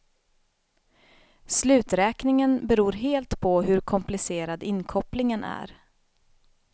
Sluträkningen beror helt på hur komplicerad inkopplingen är.